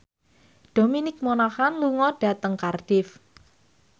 Dominic Monaghan lunga dhateng Cardiff